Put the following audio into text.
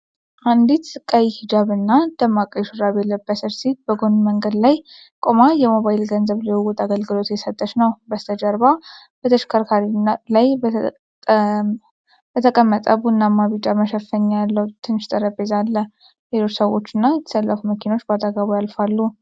አንዲት ቀይ ሂጃብና ደማቅ ቀይ ሹራብ የለበሰች ሴት በጎን መንገድ ላይ ቆማ የሞባይል ገንዘብ ልውውጥ አገልግሎት እየሰጠች ነው። በስተጀርባ በተሽከርካሪ ላይ የተቀመጠ ቡናማና ቢጫ መሸፈኛ ያለው ትንሽ ጠረጴዛ አለ። ሌሎች ሰዎችና የተሰለፉ መኪኖች በአጠገቧ ያልፋሉ።